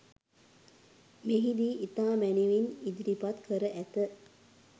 මෙහිදී ඉතා මැනවින් ඉදිරිපත් කර ඇත.